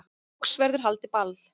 Loks verður haldið ball